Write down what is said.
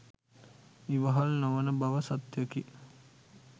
ඉවහල් නොවන බව සත්‍යයකි.